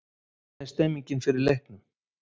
Hvernig er stemmningin fyrir leikinn?